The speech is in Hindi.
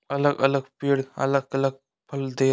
अलग-अलग पेड़ अलग-अलग फल दे --